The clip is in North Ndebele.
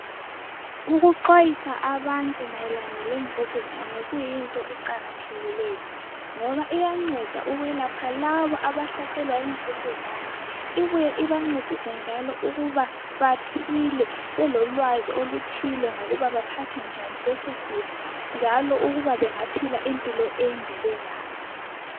Ukuxwayisa abantu mayelana lemvukuzane kuyinto eqakathekileyo ngoba iyanceda ukwelapha labo abahlaselwa yimvukuzane. Ibuye ibancedise njalo ukuba baphile belolwazi oluthile ngokuba baphethe njani lesosifo njalo ukuba bangaphila impilo ende belaso.